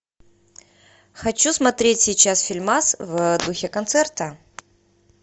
хочу смотреть сейчас фильмас в духе концерта